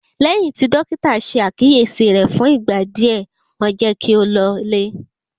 Lẹ́yìn tí Dọ́kítà ṣe àkíyèsí rẹ̀ fún ìgbà díẹ̀, wọ́n jẹ́ kí ó lọlé.